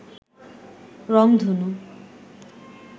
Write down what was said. রংধনু